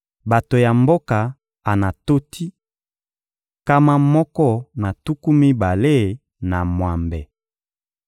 Bato ya mboka Anatoti: nkama moko na tuku mibale na mwambe.